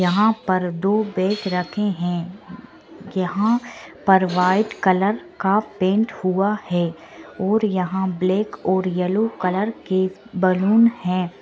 यहाँ पर दो बैग रखे हैं| यहाँ पर व्हाइट कलर का पेंट हुआ है और यहाँ ब्लैक और येलो कलर के बैलून हैं।